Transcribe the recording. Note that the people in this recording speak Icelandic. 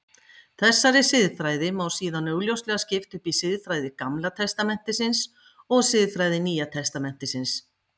Þessari siðfræði má síðan augljóslega skipta upp í siðfræði Gamla testamentisins og siðfræði Nýja testamentisins.